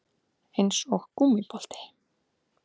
Eins og gúmmíbolti